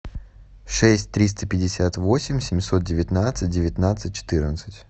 шесть триста пятьдесят восемь семьсот девятнадцать девятнадцать четырнадцать